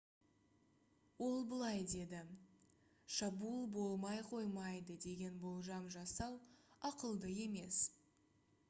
ол былай деді: «шабуыл болмай қоймайды деген болжам жасау ақылды емес»